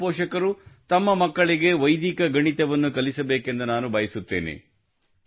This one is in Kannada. ಎಲ್ಲಾ ಪೋಷಕರು ತಮ್ಮ ಮಕ್ಕಳಿಗೆ ವೈದಿಕ ಗಣಿತವನ್ನು ಕಲಿಸಬೇಕೆಂದು ನಾನು ಬಯಸುತ್ತೇನೆ